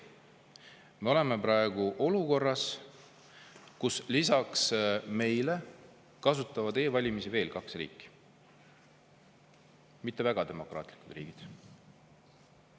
Me oleme praegu olukorras, kus lisaks meile kasutavad e-valimisi veel kaks riiki, mitte väga demokraatlikku riiki.